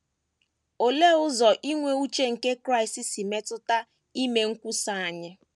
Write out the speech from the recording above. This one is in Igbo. Olee ụzọ inwe uche nke Kraịst si metụta ime nkwusa anyị?